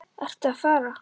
Ertu að fara?